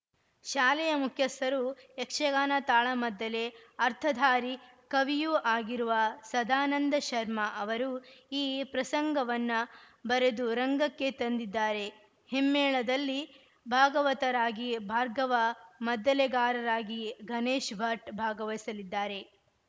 ಶಾಲೆಯ ಮುಖ್ಯಸ್ಥರು ಯಕ್ಷಗಾನ ತಾಳಮದ್ದಲೆ ಅರ್ಥಧಾರಿ ಕವಿಯೂ ಆಗಿರುವ ಸದಾನಂದ ಶರ್ಮ ಅವರು ಈ ಪ್ರಸಂಗವನ್ನ ಬರೆದು ರಂಗಕ್ಕೆ ತಂದಿದ್ದಾರೆ ಹಿಮ್ಮೇಳದಲ್ಲಿ ಭಾಗವತರಾಗಿ ಭಾರ್ಗವ ಮದ್ದಲೆಗಾರರಾಗಿ ಗಣೇಶ್ ಭಟ್‌ ಭಾಗವಹಿಸಲಿದ್ದಾರೆ